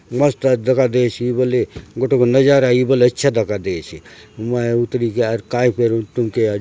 मस्त आए दखा देयसि बल्ले गोटोक नज़ारा ये बले अच्छा दखा देयसे मैं उतरी काय फेर तुमके --